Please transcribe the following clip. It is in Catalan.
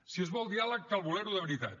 si es vol diàleg cal voler lo de veritat